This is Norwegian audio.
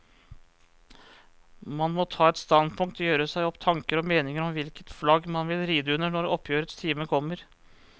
Man må ta et standpunkt, gjøre seg opp tanker og meninger om hvilket flagg man vil ride under når oppgjørets time kommer.